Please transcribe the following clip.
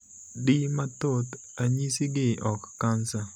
Di mathoth, ranyisigi ok kansa.